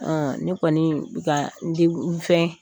Ne kɔni ka n di n fɛn.